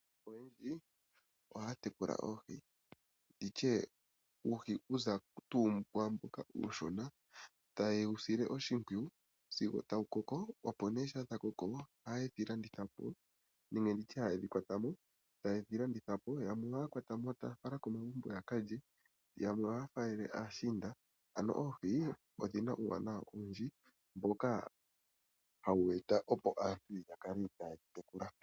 Aantu oyendji ohaya tekula oohi ndi tye okuza tuu kuuhi mboka uushona taye wu sile oshimpwiyu sigo tuu wa koko. Shampa dha koko ohaye dhi kwata mo nenge ndi tye ohaye dhi landitha po, yamwe ohaye dhi kwata mo e taya fala komagumbo ya ka lye, yamwe ohaya faalele aashiinda. Oohi odhi na uuwanawa owundji mboka hawu eta opo aantu ya kale taye dhi tekula.